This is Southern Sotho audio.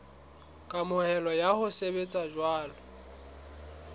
kamohelo ya ho sebetsa jwalo